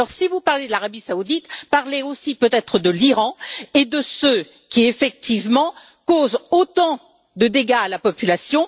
Alors si vous parlez de l'Arabie Saoudite, parlez aussi peut être de l'Iran et de ceux qui, effectivement, causent autant de dégâts à la population.